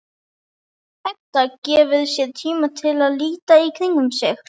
Edda gefur sér tíma til að líta í kringum sig.